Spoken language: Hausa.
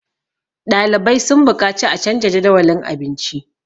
ɗalibai sun buƙaci a canja Jadawalin abinci